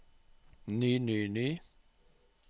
ny ny ny